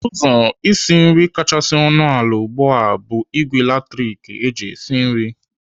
Ụzọ isi nri kachasị ọnụ ala ugbu a bụ ìgwè latrik eji esi nri.